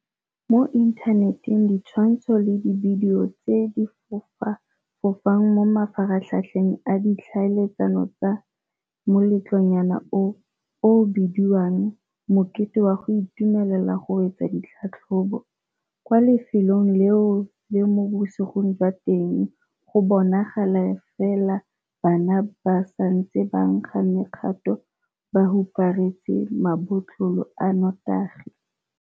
Mo inthaneteng ditshwantsho le dibidio tse di fofa fofang mo mafaratlhatlheng a ditlhaeletsano tsa moletlonyana oo o o bediwang 'mokete wa go itumelela go wetsa ditlhatlhobo' kwa lefelong leo mo bosigong jwa teng go bonagala fela bana ba ba santseng ba nkga mekgato ba huparetse mabotlolo a notagi.